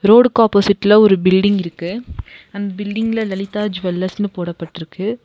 ரோடுக்கு ஆப்போசிட்ல ஒரு பில்டிங் இருக்கு அந் பில்டிங்ல லலிதா ஜுவல்லர்ஸ்னு போடப்பட்டிருக்கு.